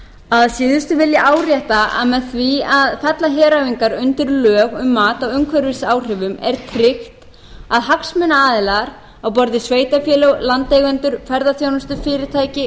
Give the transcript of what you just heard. að síðustu vil ég árétta að með því að fella heræfingar undir lög um mat á umhverfisáhrifum er tryggt að hagsmunaaðilar á borð við sveitarfélög landeigendur ferðaþjónustufyrirtæki og